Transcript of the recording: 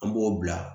An b'o bila